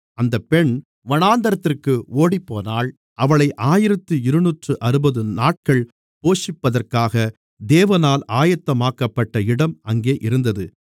அந்தப் பெண் வனாந்திரத்திற்கு ஓடிப்போனாள் அவளை ஆயிரத்து இருநூற்றுஅறுபது நாட்கள் போஷிப்பதற்காக தேவனால் ஆயத்தமாக்கப்பட்ட இடம் அங்கே இருந்தது